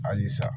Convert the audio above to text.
Halisa